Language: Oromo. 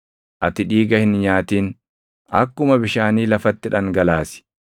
Ati dhiiga hin nyaatin; akkuma bishaanii lafatti dhangalaasi.